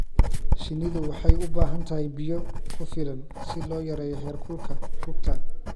Shinnidu waxay u baahan tahay biyo ku filan si loo yareeyo heerkulka rugta.